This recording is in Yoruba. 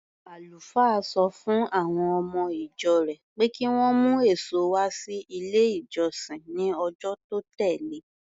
Àlùfáà sọ fún àwọn ọmọ-ìjọ rẹ̀ pé kí wọ́n mú èso wá sí ilé-ìjọsìn ní ọjọ́ tó tẹ̀le.